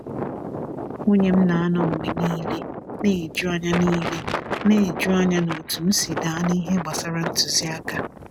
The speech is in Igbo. Nwunye m na-anọ mgbe niile na-eju anya niile na-eju anya na otú m si daa n’ihe gbasara ntụziaka.